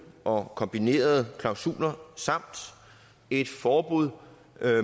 og kombinerede klausuler samt et forbud